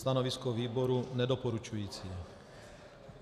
Stanovisko výboru nedoporučující.